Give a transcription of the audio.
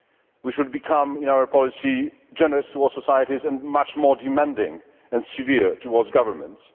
We should become, in our policy, generous towards societies and much more demanding and severe towards governments.